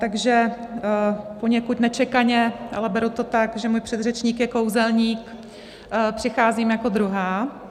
Takže poněkud nečekaně, ale beru to tak, že můj předřečník je kouzelník, přicházím jako druhá.